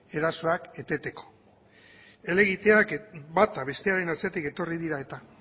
erasoak eteteko helegiteak bata bestearen atzetik etorri dira eta